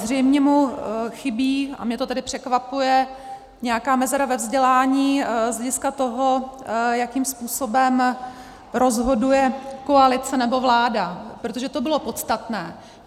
Zřejmě mu chybí, a mě to tedy překvapuje, nějaká mezera ve vzdělání z hlediska toho, jakým způsobem rozhoduje koalice nebo vláda, protože to bylo podstatné.